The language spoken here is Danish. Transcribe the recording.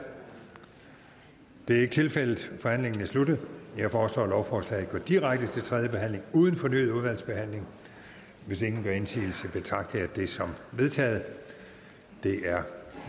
det er ikke tilfældet forhandlingen er sluttet jeg foreslår at lovforslaget går direkte til tredje behandling uden fornyet udvalgsbehandling hvis ingen gør indsigelse betragter jeg det som vedtaget det er